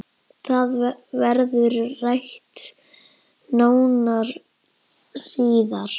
Það verður rætt nánar síðar